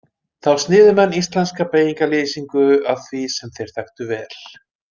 Þá sniðu menn íslenska beygingarlýsingu að því sem þeir þekktu vel.